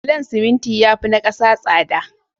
Bulon siminti yafi na 'kasa tsada